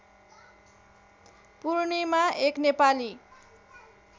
पूर्णिमा एक नेपाली